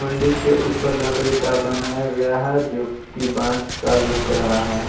मंडी के ऊपर लकड़ी का बनाया गया है जो कि बांस का लग रहा है।